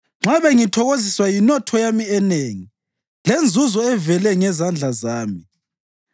nxa bengithokoziswa yinotho yami enengi, lenzuzo evele ngezandla zami,